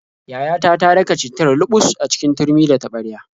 Yayata ta daka cittar luɓus a cikin turmi da taɓarya.